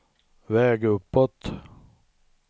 väg uppåt